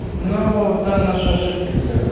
ну там наши ошибки были